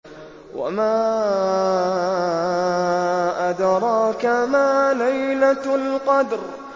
وَمَا أَدْرَاكَ مَا لَيْلَةُ الْقَدْرِ